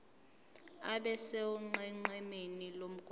abe sonqenqemeni lomgwaqo